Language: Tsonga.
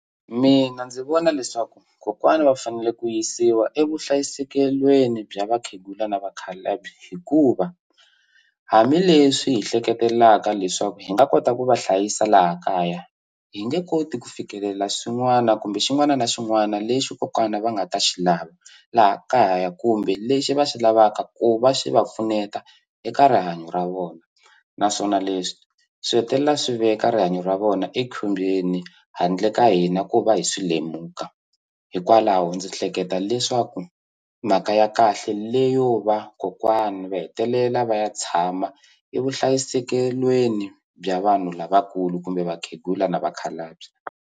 Mina ndzi vona leswaku kokwana va fanele ku yisiwa evuhlayisekelweni bya vakhegula na vakhalabye hikuva hambileswi hi hleketelaka leswaku hi nga kota ku va hlayisa laha kaya hi nge koti ku fikelela swin'wana kumbe xin'wana na xin'wana lexi kokwana va nga ta xi lava laha kaya kumbe lexi va xi lavaka ku va swi va pfuneta eka rihanyo ra vona naswona leswi swi hetelela swi veka rihanyo ra vona ekhombyeni handle ka hina ku va hi swi lemuka hikwalaho ndzi hleketa leswaku mhaka ya kahle leyo va kokwani va hetelela va ya tshama evuhlayisekelweni bya vanhu lavakulu kumbe vakhegula na vakhalabye.